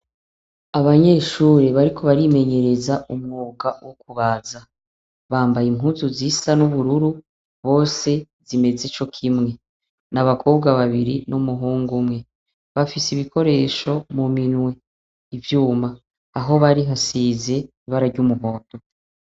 Abanyeshure bariko barimenyereza umwuga wo kubaza . Bambaye impuzu zisa n'ubururu, bose, zimeze cokimwe. N'abakobwa babiri n'umuhung'umwe. Bafis'ibikoresho muminwe, ivyuma ,aho bari hasize ibara ry'umuhondo.